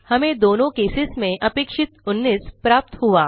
हमें दोनों केसेस में अपेक्षित 19 प्राप्त हुआ